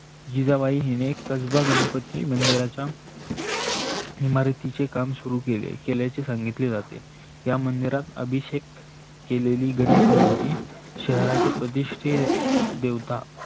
जिजाबाई ही कजबा गणपती मंदिराच्या इमारतीचे काम सुरु केले केलाचे सांगीतले जाते. या मंदिरात अभिषेक केलेली गणेश मूर्ती शहराचे प्रतिष्ठित देवता